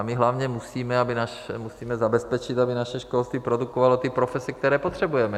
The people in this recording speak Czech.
A my hlavně musíme zabezpečit, aby naše školství produkovalo ty profese, které potřebujeme.